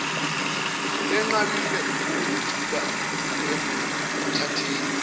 lenqabile ukuzethula ekuthatheni